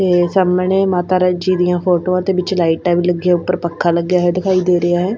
ਤੇ ਸਾਹਮਣੇ ਮਾਤਾ ਰਾਂਚੀ ਦੀਆਂ ਫੋਟੋਆਂ ਤੇ ਵਿੱਚ ਲਾਈਟਾਂ ਵੀ ਲੱਗੀਆਂ ਉੱਪਰ ਪੱਖਾਂ ਲੱਗਾ ਵੀ ਦਿਖਾਈ ਦੇ ਰਿਹਾ ਹੈ।